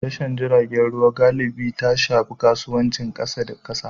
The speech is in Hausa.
Tashar jiragen ruwa galibi ta shafi kasuwancin kasa da kasa.